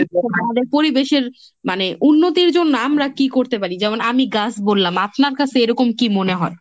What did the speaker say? আমাদের পরিবেশের মানে উন্নতির জন্য আমরা কি করতে পারি? যেমন আমি গাছ বললাম আপনার কাছে এরকম কি মনে হয়?